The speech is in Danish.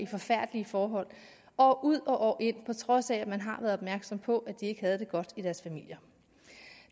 forfærdelige forhold år ud og år ind på trods af at man har været opmærksom på at de ikke havde det godt i deres familie